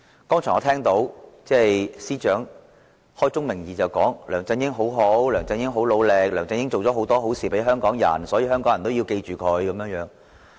我剛才聽到司長開宗明義地說梁振英很好，很努力，為香港人做了很多好事，所以香港人要記着他。